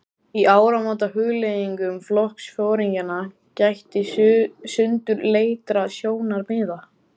Í áramótahugleiðingum flokksforingjanna gætti sundurleitra sjónarmiða.